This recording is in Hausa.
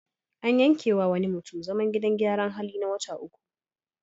An yankewa wani mutum zaman gidan gyaran hali na wata uku.